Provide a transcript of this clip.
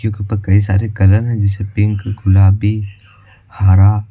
यहां पर कई सारे कलर जैसे पिंक गुलाबी हरा--